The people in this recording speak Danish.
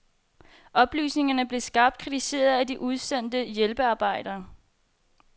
Oplysningerne blev skarpt kritiseret af de udsendte hjælpearbejdere.